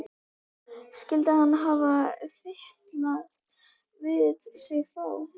Skyldi hann hafa fitlað við sig þá?